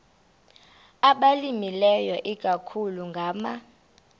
abalimileyo ikakhulu ngama